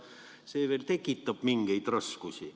See tekitab tõesti teatud raskusi.